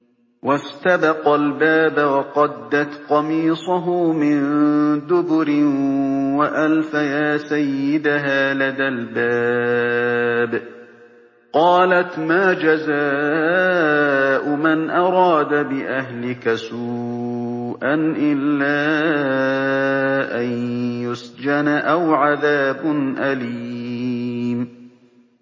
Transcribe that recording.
وَاسْتَبَقَا الْبَابَ وَقَدَّتْ قَمِيصَهُ مِن دُبُرٍ وَأَلْفَيَا سَيِّدَهَا لَدَى الْبَابِ ۚ قَالَتْ مَا جَزَاءُ مَنْ أَرَادَ بِأَهْلِكَ سُوءًا إِلَّا أَن يُسْجَنَ أَوْ عَذَابٌ أَلِيمٌ